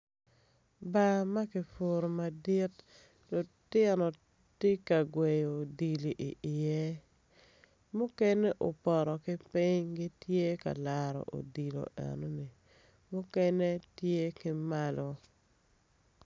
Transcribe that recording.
Bar ma ki furu madit lutino ti ka gweyo odilo iye mukene opoto ki piny gitye ka laro odilo eno ni mukene tye ki malo